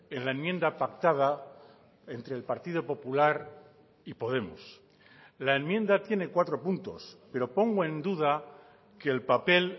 en la enmienda pactada entre el partido popular y podemos la enmienda tiene cuatro puntos pero pongo en duda que el papel